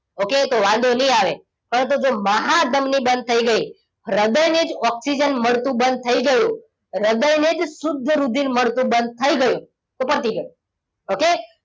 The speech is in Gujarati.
Okay તો વાંધો નહીં આવે પરંતુ જો મહાધમની બંધ થઈ ગઈ હૃદયને જ ઓક્સિજન મળતું બંધ થઈ ગયું હૃદયને જ શુદ્ધ રુધિર મળતું બંધ થઈ ગયું તો પતી ગયું. okay